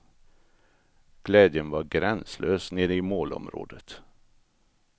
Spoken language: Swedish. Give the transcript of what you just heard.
Glädjen var gränslös nere i målområdet.